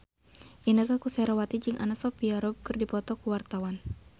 Inneke Koesherawati jeung Anna Sophia Robb keur dipoto ku wartawan